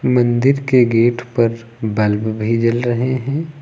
मंदिर के गेट पर बल्ब भी जल रहे हैं।